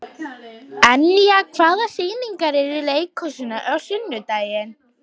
Enja, hvaða sýningar eru í leikhúsinu á sunnudaginn?